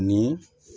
Ni